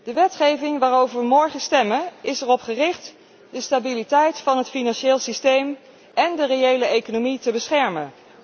De wetgeving waarover wij morgen stemmen, is erop gericht de stabiliteit van het financieel systeem én de reële economie te beschermen.